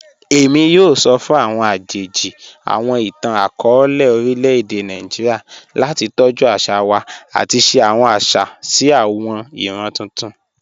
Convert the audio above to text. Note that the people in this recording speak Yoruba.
Emi yoo sọ fun awọn ajeji awọn itan-akọọlẹ orilẹ-ede Naijiria lati tọju aṣa wa ati ṣe awọn aṣa si awọn iran tuntun.